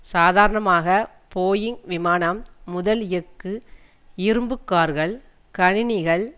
சாதாரணமாக போயிங் விமானம் முதல் எஃகு இரும்பு கார்கள் கணினிகள்